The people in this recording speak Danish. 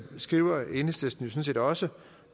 skriver enhedslisten jo sådan set også